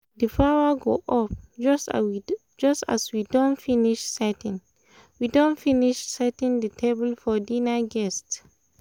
the power go off just as we don finish setting the finish setting the table for dinner guests